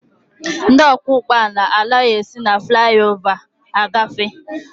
Ndị ọkwọ ụgbọala anaghị esi na flaị ova agafe.